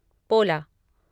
पोला